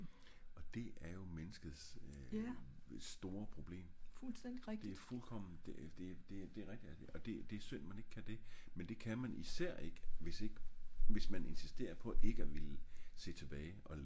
og det er jo menneskets øh store problem det er fuldkommen det det det er synd man ik kan det men det kan man især ik hvis ik hvis man ik insisterer på at se tilbage